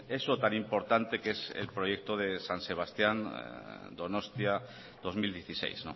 eso tan importante que es el proyecto de san sebastián donostia dos mil dieciséis